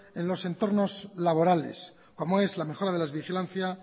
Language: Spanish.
en los entornos laborales como es la mejora de la vigilancias